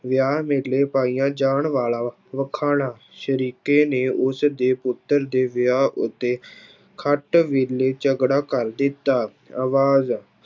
ਵਿਆਹ ਵੇਲੇ ਪਾਈਆ ਜਾਣ ਵਾਲਾ ਵਖਾਣਾ ਸਰੀਕੇ ਨੇ ਉਸਦੇ ਪੁੱਤਰ ਦੇ ਵਿਆਹ ਉੱਤੇ ਖੱਟ ਵੇਲੇ ਝਗੜਾ ਕਰ ਦਿੱਤਾ, ਆਵਾਜ਼